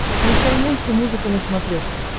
включай мультимузыка на смотрешке